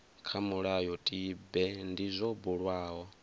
kha mulayotibe ndi zwo bulwaho